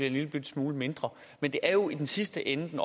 en lillebitte smule mindre men det er jo i den sidste ende den